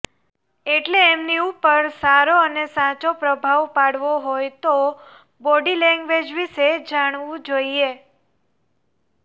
એટલે એમની ઉપર સારો અને સાચો પ્રભાવ પાડવો હોય તો બોડી લેંગ્વેજ વિશે જાણવું જોઇએ